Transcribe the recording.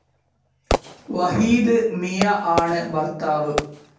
വഹീദ് മിയ ആണ് ഭർത്താവ്.